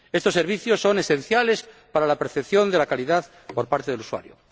Estos servicios son esenciales para la percepción de la calidad por parte del usuario.